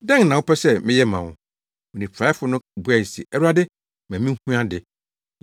“Dɛn na wopɛ sɛ meyɛ ma wo?” Onifuraefo no buae se, “Awurade, ma minhu ade.”